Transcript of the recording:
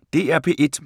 DR P1